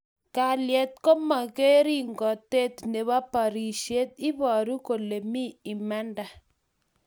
Kalyet komangeringotet nebo birishet, ibaaru kole mi imanda